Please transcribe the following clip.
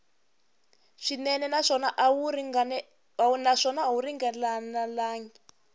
swinene naswona a wu ringanelangi